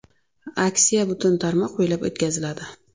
Aksiya butun tarmoq bo‘ylab o‘tkaziladi.